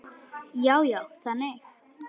Já, já, þannig.